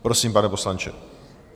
Prosím, pane poslanče.